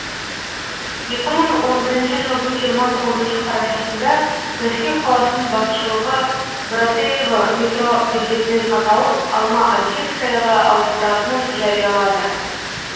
екі мың он бірінші жылдың жиырма тоғызыншы қарашасында мәскеу қаласының басшылығы братеево метро бекетінің атауын алма атинскаяға ауыстыратынын жариялады